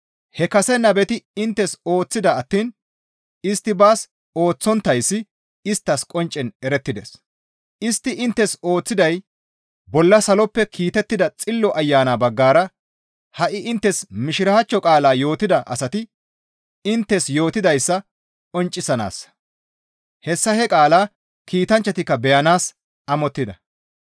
He kase nabeti inttes ooththida attiin istti baas ooththonttayssi isttas qonccen erettides. Istti inttes ooththiday bolla saloppe kiitettida Xillo Ayana baggara ha7i inttes Mishiraachcho qaala yootida asati inttes yootidayssa qonccisanaassa; hessa he qaalaa kiitanchchatikka beyanaas amottida.